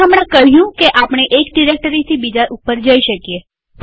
આપણે હમણાં કહ્યું કે આપણે એક ડિરેક્ટરીથી બીજા ઉપર જઈ શકીએ